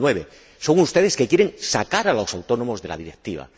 2009. Son ustedes los que quieren sacar a los autónomos de la Directiva.